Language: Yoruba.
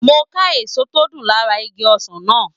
Mo n ká èso tó dùn lára igi ọsàn náà